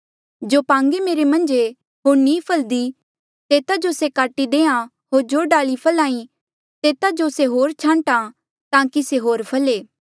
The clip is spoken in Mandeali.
जो पांगे मेरे मन्झ ई होर नी फलदी तेता जो से काटी देहां होर जो डाली फल्हा ई तेता जो से होर छांट्आं ताकि से होर फले